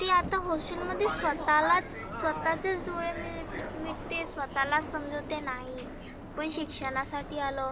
ती आता hostel मध्ये स्वतःलाच स्वतःचे च डोळे मिळीत मिटते स्वतःलाच समजवते नाही. आपण शिक्षणासाठी आलो.